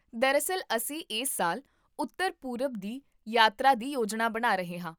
ਦਰਅਸਲ, ਅਸੀਂ ਇਸ ਸਾਲ ਉੱਤਰ ਪੂਰਬ ਦੀ ਯਾਤਰਾ ਦੀ ਯੋਜਨਾ ਬਣਾ ਰਹੇ ਹਾਂ